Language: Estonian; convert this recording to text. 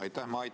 Aitäh!